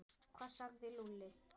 Hvað sagði Lúlli?